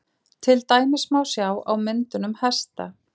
til dæmis má sjá á myndunum hesta